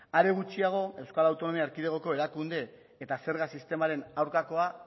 are gutxiago euskal autonomia erkidegoko erakunde eta zerga sistemaren aurkakoa